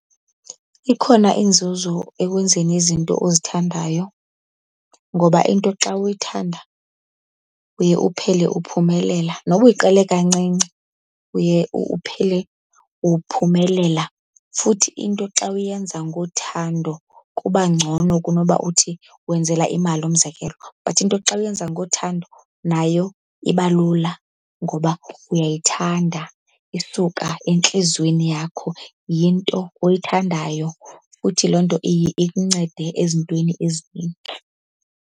Ikhona inzuzo ekwenzeni izinto ozithandayo ngoba into xa uyithanda uye uphele uphumelela, noba uyiqale kancinci uye uphele uphumelela. Futhi into xa uyenza ngothando kuba ngcono kunoba uthi wenzela imali, umzekelo. But into xa uyenza ngothando nayo iba lula ngoba uyayithanda isuka entliziyweni yakho, yinto oyithandayo, futhi loo nto iye ikuncede ezintweni ezininzi.